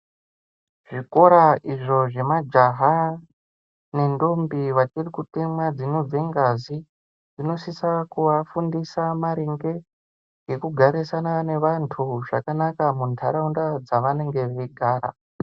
Zvikora izvo zvemajaha nentombi vachirikutemwa dzinobve ngazi zvinosisa kuvafundisa maringe ngekugarisana nevantu zvakanaka mundaraunda dzavanenge veigara.